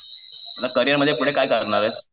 आता करियरमध्ये पुढे काय करणार आहेस?